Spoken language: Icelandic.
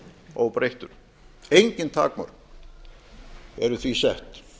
óbreyttur engin takmörk eru því sett